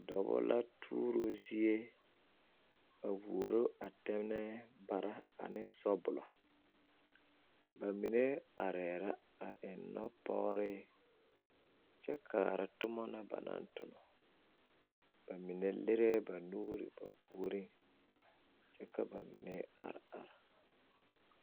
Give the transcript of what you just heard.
dɔba la turoo zie, a woroo a tɛnɛɛ para a ne sɔbɔlɔ ba mine are la a eŋ noɔ pɔgree kyɛ kaara toma na ba tonɔ bamine lerɛɛ ba nuuri ba puuriŋ kyɛ ka bamine are are.